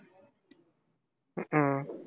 உம்